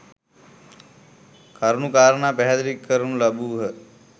කරුණු කාරණා පැහැදිලි කරනු ලැබූහ.